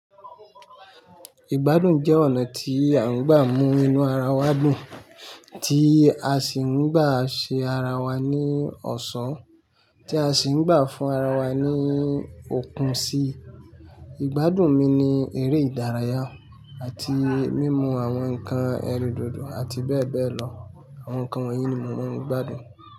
Ìgbádùn jẹ́ ọ̀nà tí a ń gbà mú inú ara wa dùn, tí a sì ń gbà ṣe ara wa ní ọ̀ṣọ́, tí a sì ń gbà fún ara wa ní òkun síi. Ìgbádùn mi ni eré ìdárayá àti mímu àwọn ǹkan ẹrindodo àti bẹ́ẹ̀ bẹ́ẹ̀ lọ. Àwọn ǹkan wọ̀nyí ni mò maa ń gbádùn.